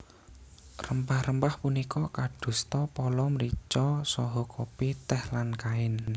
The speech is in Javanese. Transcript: Rempah rempah punika kadosta pala mrica saha kopi tèh lan kain